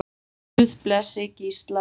Guð blessi Gísla Má.